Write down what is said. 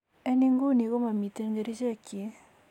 En Inguni komomiten kerichekyik.